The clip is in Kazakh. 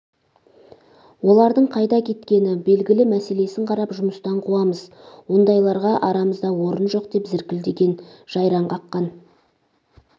олардың қайда кеткені белгілі мәселесін қарап жұмыстан қуамыз ондайларға арамызда орын жоқ деп зіркілдеген жайраң қаққан